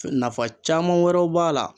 Nafa caman wɛrɛw b'a la